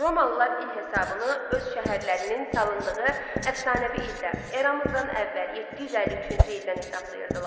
Romalılar il hesabını öz şəhərlərinin salındığı əfsanəvi ildə eramızdan əvvəl 753-cü ildən hesablayırdılar.